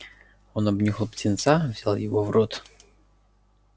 он обнюхал птенца взял его в рот